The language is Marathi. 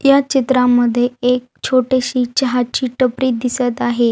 या चित्रा मध्ये एक छोटीशी चहा ची टपरी दिसत आहे.